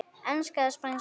Enska eða Spænska?